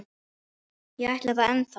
Ég ætla það ennþá.